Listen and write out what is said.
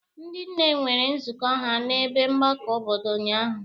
Ndị nne nwere nzukọ ha n'ebe mgbakọ obodo ụnyaahụ.